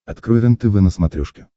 открой рентв на смотрешке